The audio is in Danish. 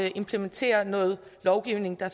at implementere noget lovgivning der